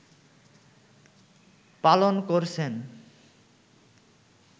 পালন করছেন